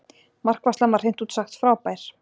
Markvarslan var hreint út sagt frábær.